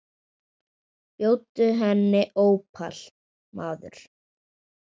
Bjóddu henni ópal, maður.